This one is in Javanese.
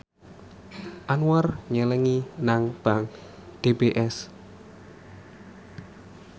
Anwar nyelengi nang bank DBS